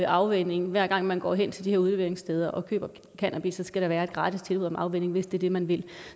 afvænning hver gang man går hen til de her udleveringssteder og køber cannabis der skal være et gratis tilbud om afvænning hvis det er det man vil